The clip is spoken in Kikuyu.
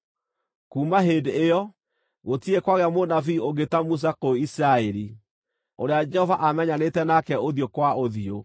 Kuuma hĩndĩ ĩyo, gũtirĩ kwagĩa mũnabii ũngĩ ta Musa kũu Isiraeli, ũrĩa Jehova aamenyanĩte nake ũthiũ kwa ũthiũ,